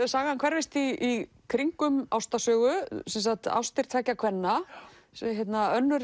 sagan hverfist í kringum ástarsögu sem sagt ástir tveggja kvenna önnur